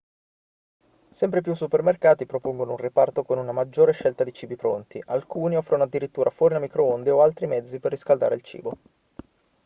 sempre più supermercati propongono un reparto con una maggiore scelta di cibi pronti alcuni offrono addirittura forni a microonde o altri mezzi per riscaldare il cibo